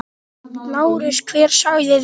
LÁRUS: Hver sagði þetta?